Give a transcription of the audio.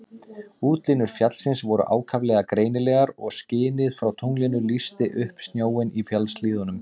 Útlínur fjallsins voru ákaflega greinilegar og skinið frá tunglinu lýsti upp snjóinn í fjallshlíðunum.